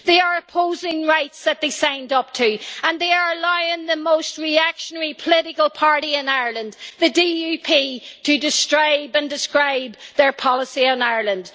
They are opposing rights that they signed up to, and they are aligned with the most reactionary political party in Ireland, the DUP, to describe and describe their policy in Ireland.